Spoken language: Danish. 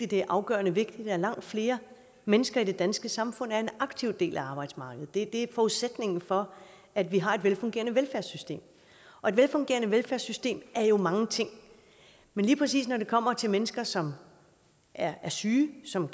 det er afgørende vigtigt at langt flere mennesker i det danske samfund er en aktiv del af arbejdsmarkedet det er forudsætningen for at vi har et velfungerende velfærdssystem og et velfungerende velfærdssystem er jo mange ting men lige præcis når det kommer til mennesker som er syge som